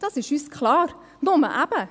Das ist uns klar, nur eben: